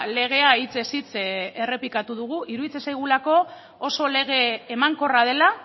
legea hitzez hitz errepikatu dugu iruditzen zaigulako oso lege emankorra dela